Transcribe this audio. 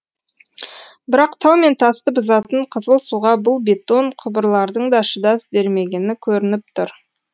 бірақ тау мен тасты бұзатын қызыл суға бұл бетон құбырлардың да шыдас бермегені көрініп тұр